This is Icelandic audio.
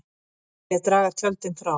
Vilja draga tjöldin frá